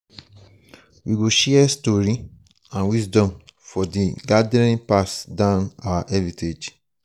we go share stories and wisdom for di gathering pass down our heritage.